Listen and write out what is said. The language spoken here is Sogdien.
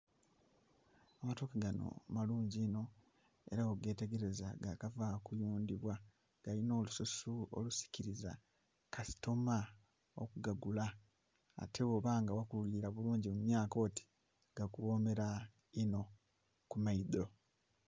Amatoke ganho malungi inho era gho ghetegereza ga kava kuyundhibwa galinha olususu olusikiliza kasitoma okugagula, ate ghoba nga ghakulila mu myaka oti gakughomera inho ku maadhi.